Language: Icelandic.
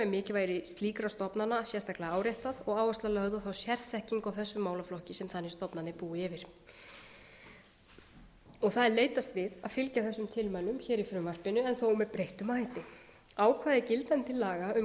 í tilmælunum er mikilvægi slíkra stofnana sérstaklega áréttað og áhersla lögð á þá sérþekkingu á þessum málaflokki sem þannig stofnanir búa yfir það er leitast við að fylgja þessum tilmælum í frumvarpinu en þó með breyttum hætti ákvæði gildandi laga um